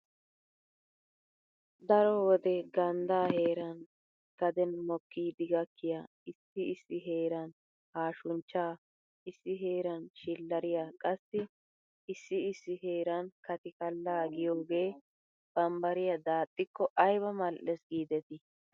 Daro wode ganddaa heeran gaden mokkidi gakkiya issi issi heeran, haashunchchaa, issi heeran, shillariya qassi issi issi heeran katikkallaa giyogee bambbariya daaxxikko ayba mal''ees giidetii!